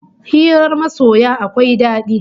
Hirar masoya akwai dadi